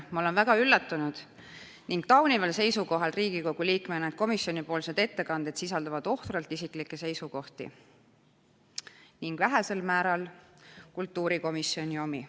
Ma olen väga üllatunud ning taunival seisukohal, et komisjoni ettekanded sisaldavad ohtralt isiklikke seisukohti ning üksnes vähesel määral kultuurikomisjoni omi.